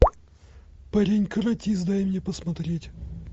парень каратист дай мне посмотреть